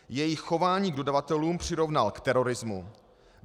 Jejich chování k dodavatelům přirovnal k terorismu.